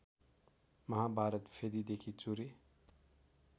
महाभारत फेदिदेखि चुरे